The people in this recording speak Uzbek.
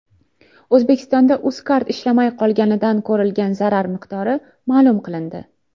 O‘zbekistonda UzCard ishlamay qolganidan ko‘rilgan zarar miqdori ma’lum qilindi.